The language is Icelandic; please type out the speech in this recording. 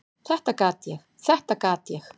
"""Þetta gat ég, þetta gat ég!"""